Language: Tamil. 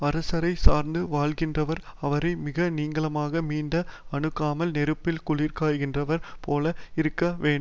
அரசரை சார்ந்து வாழ்கின்றவர் அவரை மிக நீங்காமலும் மிக அணுகாமலும் நெருப்பில் குளிர் காய்கின்றவர் போல இருக்க வே